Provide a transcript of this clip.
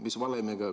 Mis valemiga?